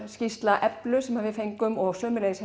skýrsla sem við fengum og sömuleiðis